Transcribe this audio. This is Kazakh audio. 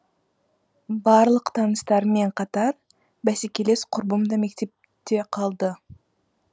барлық таныстарыммен қатар бәсекелес құрбым да мектепте қалды